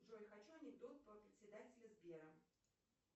джой хочу анекдот про председателя сбера